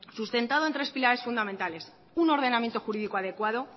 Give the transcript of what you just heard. sustentado entre tres pilares fundamentales un ordenamiento jurídico adecuado